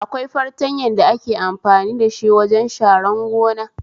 Akwai fartanyan da ake amfani dashi wajen sharan gona